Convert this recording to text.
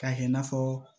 K'a kɛ i n'a fɔ